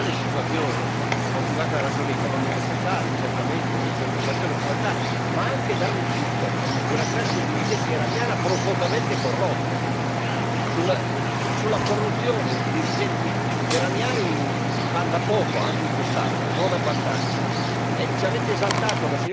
E a fronte di questa reale situazione, motivata da ragioni economico sociali, certamente, disoccupazione e povertà, ma anche dal rifiuto di una classe dirigente iraniana profondamente corrotta, della corruzione dei dirigenti iraniani si parla poco in quest'Aula, non abbastanza.